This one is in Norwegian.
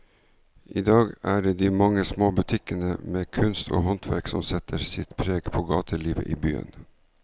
I dag er det de mange små butikkene med kunst og håndverk som setter sitt preg på gatelivet i byen.